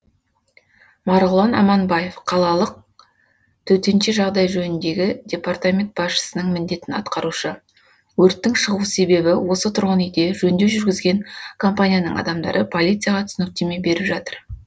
марғұлан аманбаев қалалық төтенше жағдай жөніндегі департаменті басшысының міндетін атқарушы өрттің шығу себебі осы тұрғын үйде жөндеу жүргізген компанияның адамдары полицияға түсініктеме беріп жатыр